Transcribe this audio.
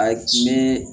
A diinɛ